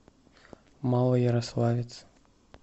малоярославец